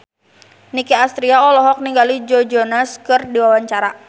Nicky Astria olohok ningali Joe Jonas keur diwawancara